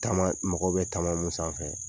Taama mɔgɔw bɛ taama mun sanfɛ.